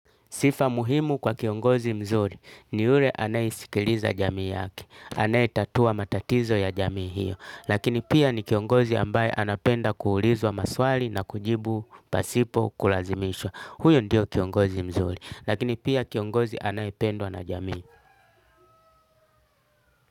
Sifa muhimu kwa kiongozi mzuri ni ule anaisikiliza jamii yake. Anaetatua matatizo ya jamii hiyo. Lakini pia ni kiongozi ambaye anapenda kuulizwa maswali na kujibu pasipo kulazimishwa. Huyo ndio kiongozi mzuri. Lakini pia kiongozi anaependwa na jamii.